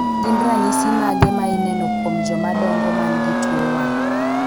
Gin ranyisi mage ma ineno kuom joma dongo man gi tuo wang'